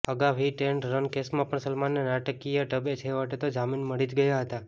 અગાઉ hit and run કેસમાં પણ સલમાનને નાટકીયઢબે છેવટે તો જામીન મળી જ ગયાં હતાં